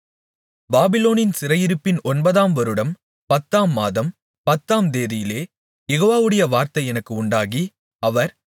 பாபிலோனின் சிறையிருப்பின் ஒன்பதாம் வருடம் பத்தாம் மாதம் பத்தாம் தேதியிலே யெகோவாவுடைய வார்த்தை எனக்கு உண்டாகி அவர்